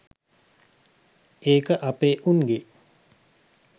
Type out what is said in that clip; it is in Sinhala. ඒක අපේ උන්ගේ